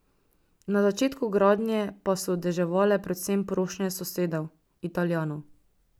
Na začetku gradnje pa so deževale predvsem prošnje sosedov, Italijanov.